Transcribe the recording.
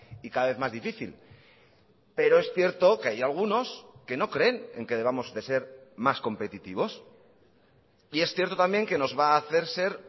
y cada vez más difícil pero es cierto que hay algunos que no creen en que debamos de ser más competitivos y es cierto también que nos va a hacer ser